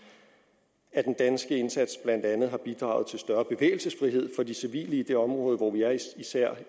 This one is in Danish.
at den danske indsats blandt andet har bidraget til større bevægelsesfrihed for de civile i det område hvor vi er især